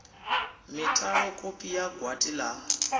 mitalo kopi ya gwati la